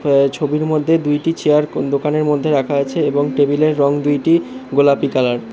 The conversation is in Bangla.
এ্যা এই ছবির মধ্যে দুইটি চেয়ার কোন দোকানের মধ্যে রাখা আছে এবং টেবিলের রং দুইটি গোলাপী কালার ।